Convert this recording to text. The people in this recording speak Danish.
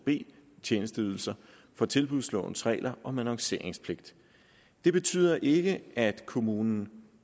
b tjenesteydelser fra tilbudslovens regler om annonceringspligt det betyder ikke at kommunerne